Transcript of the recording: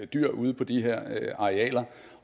dyr ude på de her arealer